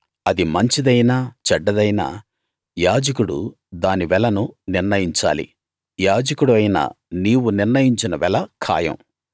అది మంచిదైనా చెడ్డదైనా యాజకుడు దాని వెలను నిర్ణయించాలి యాజకుడివైన నీవు నిర్ణయించిన వెల ఖాయం